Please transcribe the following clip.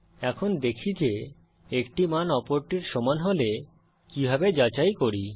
এখন দেখি যে একটি মান অপরটির সমান হলে কিভাবে যাচাই করি